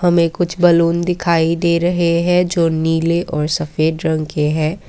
हमें कुछ बैलून दिखाई दे रहे हैं जो नील और सफेद रंग के है।